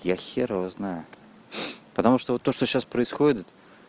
я хер его знаю потому что вот то что сейчас происходит